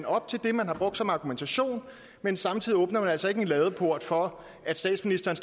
op til det man har brugt som argumentation men samtidig åbner vi altså ikke en ladeport for at statsministeren